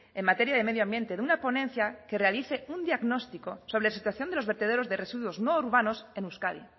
en materia de medio ambiente de una ponencia que realice un diagnóstico sobre la situación de los vertederos de residuos no urbanos en euskadi